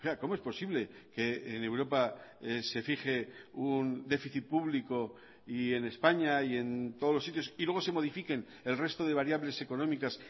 cómo es posible que en europa se fije un déficit público y en españa y en todos los sitios y luego se modifiquen el resto de variables económicas